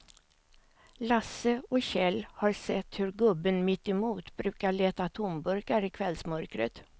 Lasse och Kjell har sett hur gubben mittemot brukar leta tomburkar i kvällsmörkret.